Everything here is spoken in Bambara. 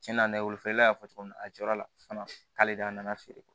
Cɛnna nɛgɛ wolofa y'a fɔ cogo min na a jɔyɔrɔ la fana k'ale de a nana feere